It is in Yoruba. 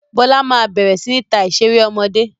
Bọlá máa bẹ̀rẹ̀ sini ta ìṣeré ọmọdé